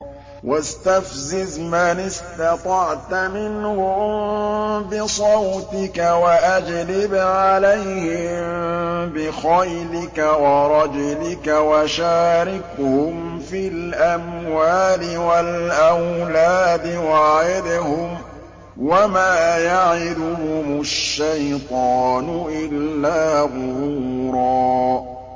وَاسْتَفْزِزْ مَنِ اسْتَطَعْتَ مِنْهُم بِصَوْتِكَ وَأَجْلِبْ عَلَيْهِم بِخَيْلِكَ وَرَجِلِكَ وَشَارِكْهُمْ فِي الْأَمْوَالِ وَالْأَوْلَادِ وَعِدْهُمْ ۚ وَمَا يَعِدُهُمُ الشَّيْطَانُ إِلَّا غُرُورًا